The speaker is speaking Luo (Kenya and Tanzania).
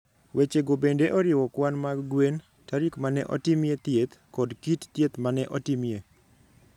Wechego bende oriwo kwan mag gwen, tarik ma ne otimie thieth, kod kit thieth ma ne otimie.